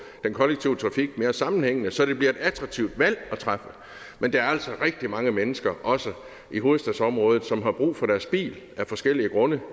den kollektive trafik mere sammenhængende så det bliver et attraktivt valg at træffe men der er altså rigtig mange mennesker også i hovedstadsområdet som har brug for deres bil af forskellige grunde